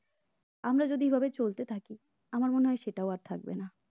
আমরা যদি এভাবে চলতে থাকি আমার মনে হয় সেটাও আর থাকবে না